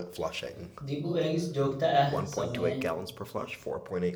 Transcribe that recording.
Dib u eegis joogto ah samee.